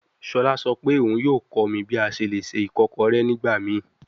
Shola sọ pe oun yoo kọ mi bi a ṣe le ṣe ikokore nigbamii